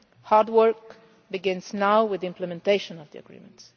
Hard work begins now with the implementation of the agreement.